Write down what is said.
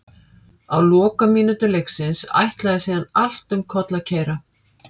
Á lokamínútum leiksins ætlaði síðan allt um koll að keyra.